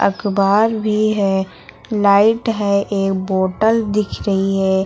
अखबार भी है लाइट है एक बोतल दिख रही है।